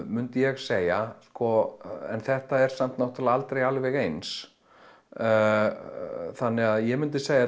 myndi ég segja en þetta er samt náttúrulega aldrei alveg eins þannig að ég myndi segja